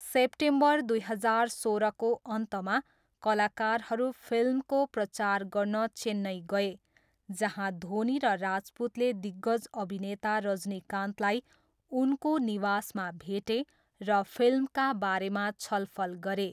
September दुई हजार सोह्रको अन्तमा, कलाकारहरू फिल्मको प्रचार गर्न चेन्नई गए जहाँ धोनी र राजपूतले दिग्गज अभिनेता रजनीकान्तलाई उनको निवासमा भेटे र फिल्मका बारेमा छलफल गरे।